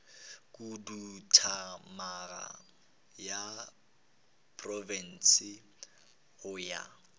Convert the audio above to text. khuduthamaga ya profense go ya